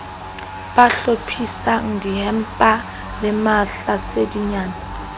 ba hlophisang dimmapa le mahlasedinyana